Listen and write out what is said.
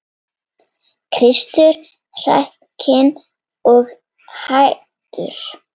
Kristur hrakinn og hæddur.